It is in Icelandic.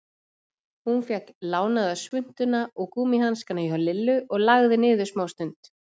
Hún fékk lánaða svuntuna og gúmmíhanskana hjá Lillu og lagði niður smástund.